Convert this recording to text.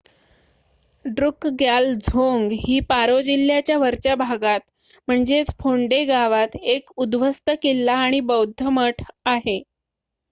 ड्रुकग्याल झोंग ही पारो जिल्ह्याच्या वरच्या भागात फोन्डे गावात एक उध्वस्त किल्ला आणि बौद्ध मठ आहे